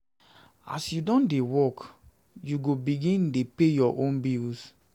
As you don dey work, you go begin dey go begin dey pay your own bills.